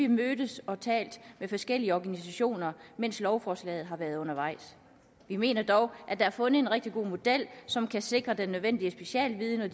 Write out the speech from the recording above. mødtes og talt med forskellige organisationer mens lovforslaget har været undervejs vi mener dog at der er fundet en rigtig god model som kan sikre den nødvendige specialviden og